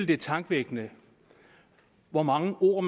det er tankevækkende hvor mange ord